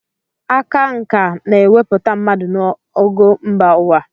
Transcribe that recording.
Aka nkà na-ewepụta mmadụ n'ogo mba ụwa.